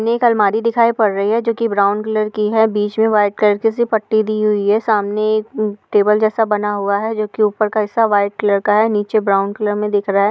ने एक अलमारी दिखाई पड़ रही है जो कि ब्राउन कलर की है। बीच में व्हाइट कलर की सी पट्टी दी हुई है। सामने एक हम्म टेबल जैसा बना हुआ है जो कि ऊपर का हिसा व्हाइट कलर का है। नीचे ब्राउन कलर में दिख रहा है।